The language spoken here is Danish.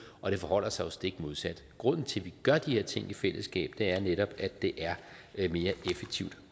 og det forholder sig jo stik modsat grunden til at vi gør de her ting i fællesskab er netop at det er mere effektivt